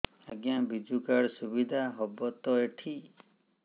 ଆଜ୍ଞା ବିଜୁ କାର୍ଡ ସୁବିଧା ହବ ତ ଏଠି